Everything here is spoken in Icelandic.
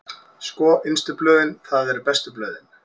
Sko, innstu blöðin, það eru bestu blöðin.